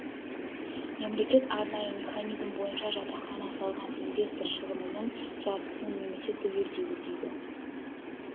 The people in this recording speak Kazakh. мемлекет арнайы механизм бойынша жатақхана салған инвестор шығынының жартысын немесе түгелдей өтейді